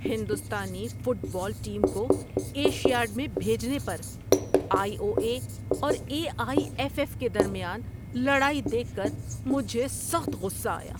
ہندوستانی football team کو Asiad میں بھیجنے پر آئی او اے اور اے آئی ایف ایف کے درمیان لڑائی دیکھ کر مجھے سخت غصہ آیا۔